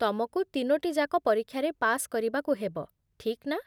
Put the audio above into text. ତମକୁ ତିନୋଟି ଯାକ ପରୀକ୍ଷାରେ ପାସ୍ କରିବାକୁ ହେବ, ଠିକ୍ ନା?